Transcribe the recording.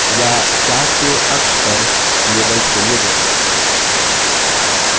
या chart के अक्ष पर labels के लिए दोनों